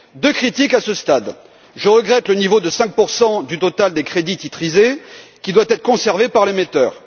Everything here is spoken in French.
Deux critiques à ce stade, je regrette le niveau de 5 du total des crédits titrisés qui doit être conservé par l'émetteur.